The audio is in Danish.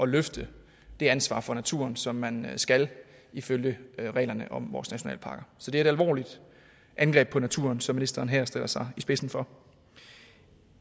løfte det ansvar for naturen som man skal ifølge reglerne om vores nationalparker så det er et alvorligt angreb på naturen som ministeren her stiller sig i spidsen for